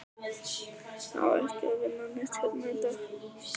Á ekki að vinna neitt hérna í dag?